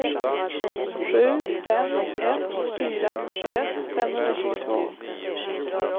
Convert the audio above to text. sju fem ett fyra fyrtioett femhundratjugotvå